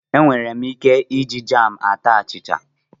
Enwere ike iji jam ata achịcha.